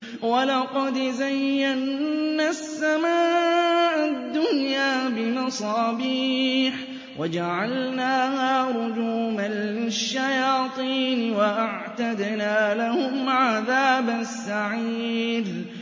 وَلَقَدْ زَيَّنَّا السَّمَاءَ الدُّنْيَا بِمَصَابِيحَ وَجَعَلْنَاهَا رُجُومًا لِّلشَّيَاطِينِ ۖ وَأَعْتَدْنَا لَهُمْ عَذَابَ السَّعِيرِ